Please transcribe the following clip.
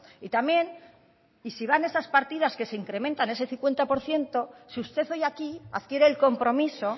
y también y si van en esas partidas que se incrementan ese cincuenta por ciento si usted hoy aquí adquiere el compromiso